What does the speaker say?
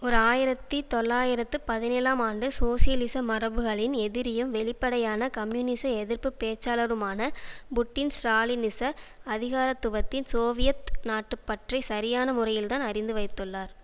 ஓர் ஆயிரத்தி தொள்ளாயிரத்து பதினேழாம் ஆண்டு சோசியலிச மரபுகளின் எதிரியும் வெளிப்படையான கம்யூனிச எதிர்ப்பு பேச்சாளருமான புட்டின் ஸ்ராலினிச அதிகாரத்துவத்தின் சோவியத் நாட்டுப்பற்றை சரியான முறையில்தான் அறிந்து வைத்துள்ளார்